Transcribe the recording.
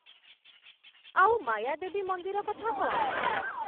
ଆଉ ମାୟାଦେବୀ ମନ୍ଦିର କଥା କ'ଣ?